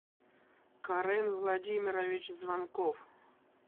карен владимирович звонков